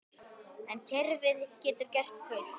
En kerfið getur gert fullt.